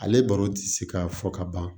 Ale baro ti se ka fɔ ka ban